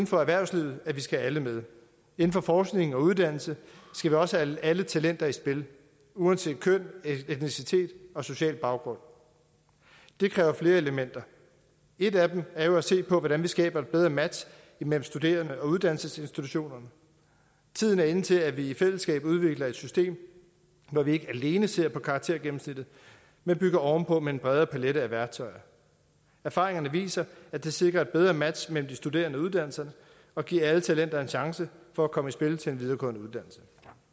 for erhvervslivet at vi skal have alle med inden for forskning og uddannelse skal vi også have alle talenter i spil uanset køn etnicitet og social baggrund det kræver flere elementer et af dem er jo at se på hvordan vi skaber et bedre match mellem studerende og uddannelsesinstitutionerne tiden er inde til at vi i fællesskab udvikler et system hvor vi ikke alene ser på karaktergennemsnittet men bygger ovenpå med en bred palet af værktøjer erfaringerne viser at det sikrer et bedre match mellem de studerende og uddannelserne og giver alle talenter en chance for at komme i spil til en videregående uddannelse